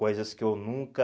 Coisas que eu nunca...